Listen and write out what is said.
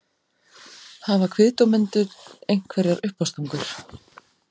Hafa kviðdómendur einhverjar uppástungur?